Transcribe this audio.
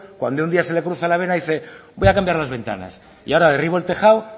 cuando un día se le cruza la vena y dice voy a cambiar las ventanas y ahora derribo el tejado